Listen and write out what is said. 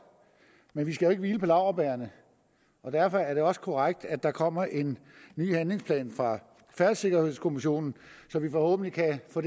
men vi skal jo ikke hvile på laurbærrene derfor er det også korrekt at der kommer en ny handlingsplan fra færdselssikkerhedskommissionen så vi forhåbentlig kan få